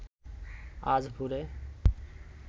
আজ ভোরে